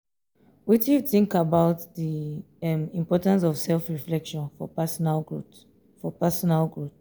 wetin you think about di um importance of self-reflection for personal growth? for personal growth?